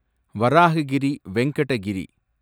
Varahagiri Venkata Giri